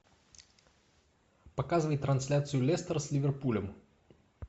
показывай трансляцию лестер с ливерпулем